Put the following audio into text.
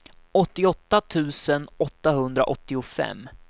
åttioåtta tusen åttahundraåttiofem